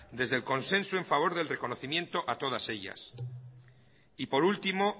desde en consenso en favor del reconocimiento a todas ellas y por último